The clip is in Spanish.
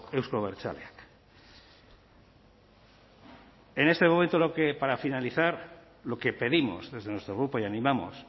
euzko abertzaleak en este momento lo que para finalizar lo que pedimos desde nuestro grupo y animamos